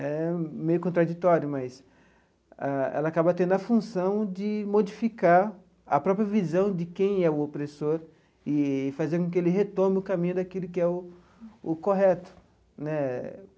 É meio contraditório, mas ela acaba tendo a função de modificar a própria visão de quem é o opressor e fazer com que ele retome o caminho daquilo que é o o correto né.